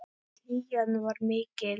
Hlýjan var mikil.